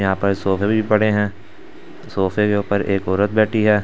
यहां पर सोफे भी पड़े हैं सोफे के ऊपर एक औरत बैठी है।